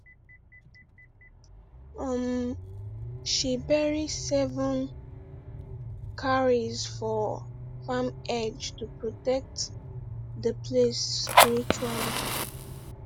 um she bury seven cowries for farm edge to protect the place spiritually